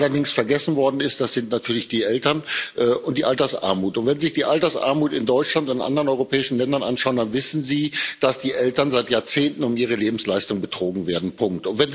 Was allerdings vergessen worden ist, das sind natürlich die Eltern und die Altersarmut. Wenn Sie sich die Altersarmut in Deutschland und anderen europäischen Ländern anschauen, dann wissen Sie, dass die Eltern seit Jahrzehnten um ihre Lebensleistung betrogen werden. Punkt.